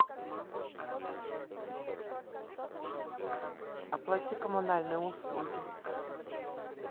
оплати коммунальные услуги